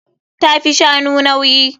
Ta fi shanu nauyi.